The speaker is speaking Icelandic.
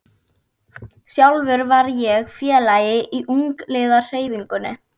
Sjálfur var ég félagi í ungliðahreyfingunni.